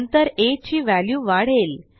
नंतर आ ची व्हॅल्यू वाढेल